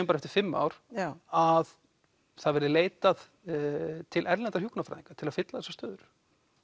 bara eftir fimm ár að það verði leitað til erlendra hjúkrunarfræðinga til þess að fylla þessar stöður